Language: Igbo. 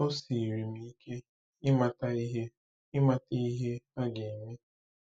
O siiri m ike ịmata ihe ịmata ihe a ga-eme.